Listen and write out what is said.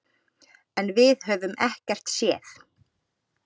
En við höfum ekkert séð.